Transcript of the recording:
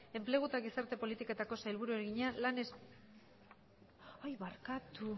enplegu eta gizarte politiketako sailburuari egina barkatu